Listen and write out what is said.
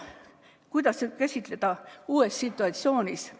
Kuidas käituda uues situatsioonis?